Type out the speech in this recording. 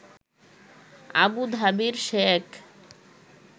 আবুধাবির Sheikh